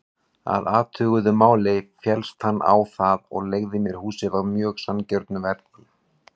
Að athuguðu máli féllst hann á það og leigði mér húsið á mjög sanngjörnu verði.